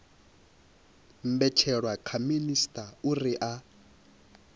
mbetshelwa kha minisita uri a